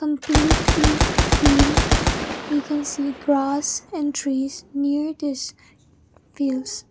completely green we can see grass and trees near this fields.